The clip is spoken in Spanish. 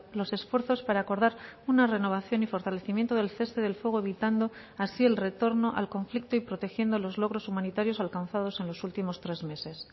los esfuerzos para acordar una renovación y fortalecimiento del cese del fuego evitando así el retorno al conflicto y protegiendo los logros humanitarios alcanzados en los últimos tres meses